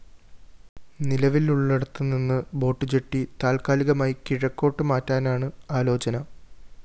നിലവിലുള്ളിടത്തുനിന്ന് boat jetty താത്കാലികമായി കിഴക്കോട്ട് മാറ്റാനാണ് ആലോചന